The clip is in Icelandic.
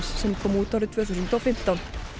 sem kom út árið tvö þúsund og fimmtán